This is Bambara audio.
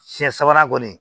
Fiɲɛ sabanan kɔni